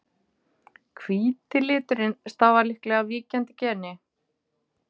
hvíti liturinn stafar líklega af víkjandi geni